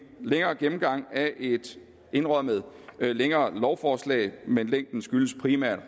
længere gennemgang af et indrømmet længere lovforslag men længden skyldes primært